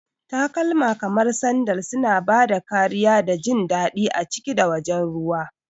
Takalma kamar sandal suna ba da kariya da jin daɗi a ciki da wajen ruwa.